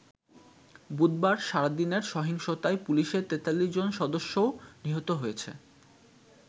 বুধবার সারাদিনের সহিংসতায় পুলিশের ৪৩ জন সদস্যও নিহত হয়েছে।